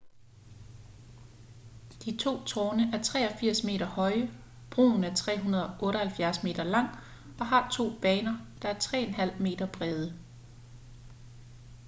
de to tårne er 83 meter høje broen er 378 meter lang og har to baner der er 3,50 m brede